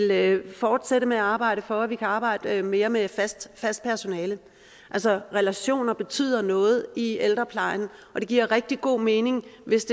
vil fortsætte med at arbejde for at vi kan arbejde mere med fast fast personale altså relationer betyder noget i ældreplejen og det giver rigtig god mening hvis